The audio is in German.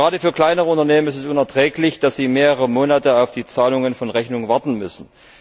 Gerade für kleinere Unternehmen ist es unerträglich, dass sie mehrere Monate auf die Bezahlung von Rechnungen warten müssen.